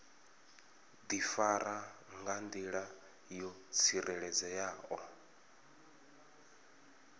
difara nga ndila yo tsireledzeaho